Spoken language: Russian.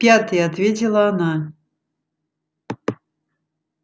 в пятый ответила она